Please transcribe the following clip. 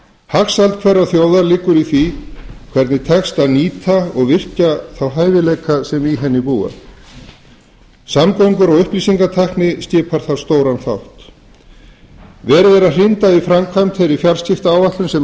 hagsæld hverrar þjóðar liggur í því hvernig tekst að nýta og virkja þá hæfileika sem í henni búa samgöngur og upplýsingatækni skipar þar stóran þátt verið er að hrinda í framkvæmd þeirri fjarskiptaáætlun sem